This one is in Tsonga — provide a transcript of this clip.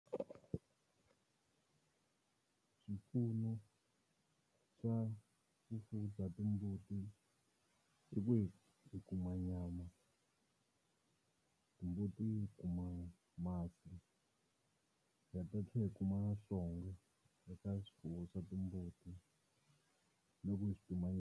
Swipfuno swa vufuwi bya timbuti i ku hi hi kuma nyama, timbuti hi kuma masi ha ha ta tlhela hi kuma eka swifuwo swa timbuti. No ku swi .